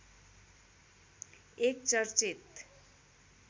एक चर्चित